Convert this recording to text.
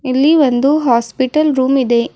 ಇಲ್ಲಿ ಒಂದು hospital room ಇದೆ.